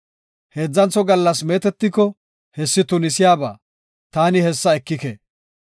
Heedzantho gallas meetetiko, hessi tunisiyaba; taani hessa ekike.